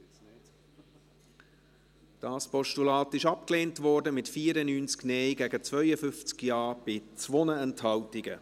Dieses Postulat wurde abgelehnt, mit 94 Nein- gegen 52 Ja-Stimmen bei 2 Enthaltungen.